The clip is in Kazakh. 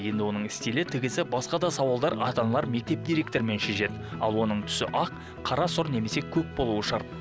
енді оның стилі тігісі басқа да сауалдар ата аналар мектеп директорымен шешеді ал оның түсі ақ қара сұр немесе көк болуы шарт